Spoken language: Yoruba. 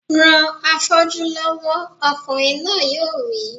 Ran afọ́jú lọ́wọ́! Ọkùnrin náà yóò wí